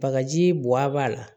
Bagaji buwa b'a la